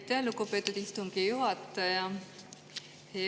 Aitäh, lugupeetud istungi juhataja!